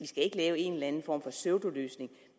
skal lave en eller anden form for pseudoløsning